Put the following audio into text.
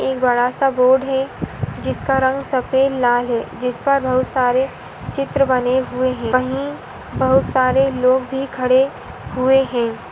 एक बड़ा - सा बोर्ड है जिसका रंग सफेद और लाल है जिस पर बहुत सारे चित्र बने हुए हैं वही बहुत सारे लोग भी खड़े हुए हैं।